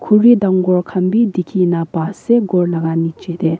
dangor khan bi dikhi nah pa se ghor laga niche tey.